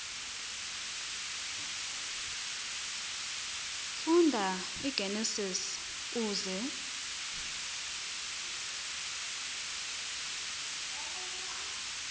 funda igenesis uze